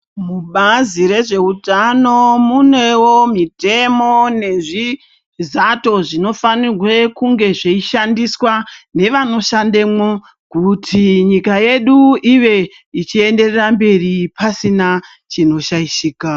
Kubazi rezveutano munewo mitemo nezvizato zvino fanirwe kunge zveishandiswa nevano shandemwo kuti nyika yedu ive ichienderera mberi pasina chinoshayishika.